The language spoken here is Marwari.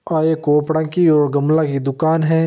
आ एक कोपड़ा की और गमला की दूकान है।